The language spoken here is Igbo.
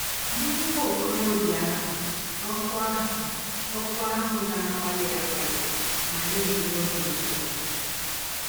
Nye nwa ọkọrọbịa ahụ, òkù ahụ òkù ahụ na - akpali akpali ma na - enye ọbi ụtọ!